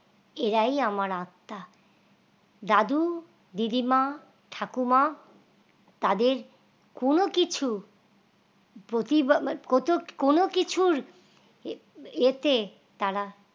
এরাই আমার আত্মা দাদু দিদিমা ঠাকুমা তাদের কোন কিছু প্রতিপালককোন কিছুর এ এতে তারা